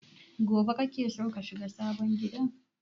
Gobe kake so ka shiga sabon gidan?